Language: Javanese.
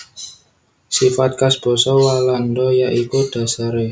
Sifat khas basa Walanda ya iku dhasaré